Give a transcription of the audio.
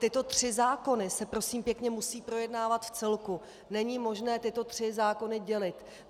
Tyto tři zákony se, prosím pěkně, musí projednávat v celku, není možné tyto tři zákony dělit.